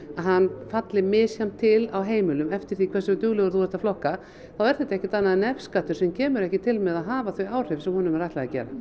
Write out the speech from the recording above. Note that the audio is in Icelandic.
hann falli misjafnt til á heimilum eftir því hversu dugleg þú ert að flokka þá er þetta ekkert annað en nefskattur sem kemur ekki til með að hafa þau áhrif sem honum er ætlað að gera